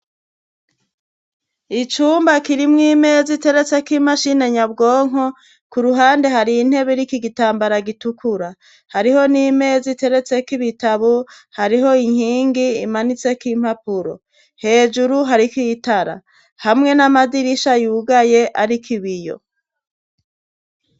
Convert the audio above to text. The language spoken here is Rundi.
Icumba kirimwo imeza iteretseko imashini nyabwonko, ku ruhande hari intebe iriko igitambara gitukura. Hariho n'imeza iteretseko ibitabu, hariho inkingi imanitseko impapuro. Hejuru hariko itara; hamwe n'amadirisha yugaye ariko ibiyo.